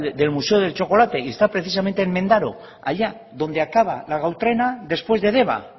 del museo del chocolate y está precisamente en mendaro allá donde acaba la gau trena después de deba